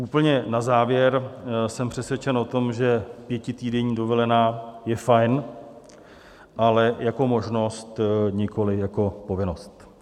Úplně na závěr: jsem přesvědčen o tom, že pětitýdenní dovolená je fajn, ale jako možnost, nikoliv jako povinnost.